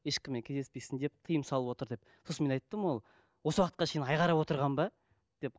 ешкіммен кездеспейсін деп тиым салып отыр деп сосын мен айттым ол осы уақытқа шейін ай қарап отырған ба деп